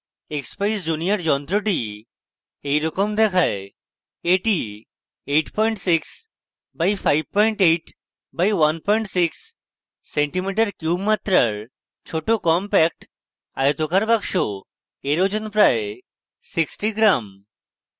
expeyes junior যন্ত্রটি এইরকম দেখায়